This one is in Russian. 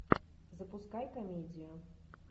запускай комедию